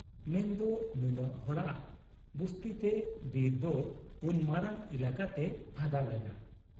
ᱢᱮᱱᱫᱚ ᱱᱩᱱᱟᱹᱜ ᱦᱚᱲᱟᱜ ᱵᱩᱥᱛᱤᱛᱮ ᱵᱤᱨᱫᱚ ᱩᱱ ᱢᱟᱨᱟᱝ ᱮᱞᱟᱠᱟᱛᱮ ᱯᱷᱟᱫᱟ ᱞᱮᱱᱟ ᱾